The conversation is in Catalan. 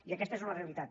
i aquesta és una realitat